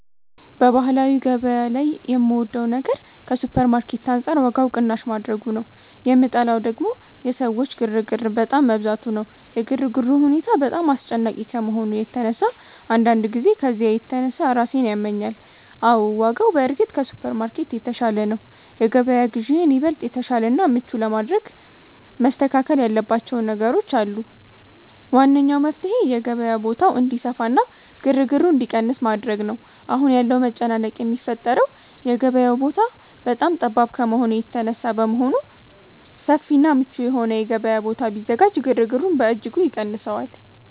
በባህላዊ ገበያ ላይ የምወደው ነገር ከሱፐርማርኬት አንጻር ዋጋው ቅናሽ ማድረጉ ነው፤ የምጠላው ደግሞ የሰዎች ግርግር በጣም መብዛቱ ነው። የግርግሩ ሁኔታ በጣም አስጨናቂ ከመሆኑ የተነሳ አንዳንድ ጊዜ ከዝያ የተነሳ ራሴን ያመኛል። አዎ፣ ዋጋው በእርግጥ ከሱፐርማርኬት የተሻለ ነው። የገበያ ግዢዬን ይበልጥ የተሻለና ምቹ ለማድረግ መስተካከል ያለባቸው ነገሮች አሉ። ዋነኛው መፍትሔ የገበያው ቦታ እንዲሰፋና ግርግሩ እንዲቀንስ ማድረግ ነው። አሁን ያለው መጨናነቅ የሚፈጠረው የገበያው ቦታ በጣም ጠባብ ከመሆኑ የተነሳ በመሆኑ፣ ሰፊና ምቹ የሆነ የገበያ ቦታ ቢዘጋጅ ግርግሩን በእጅጉ ይቀንሰዋል